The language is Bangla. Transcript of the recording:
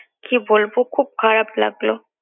কি বলবো খুব খারাপ লাগলো